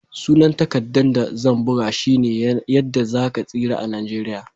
Sunan takaddan da zan buga shine"Yadda za ka tsira a'Nijeriya."